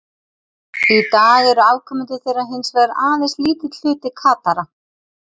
Í dag eru afkomendur þeirra hins vegar aðeins lítill hluti Katara.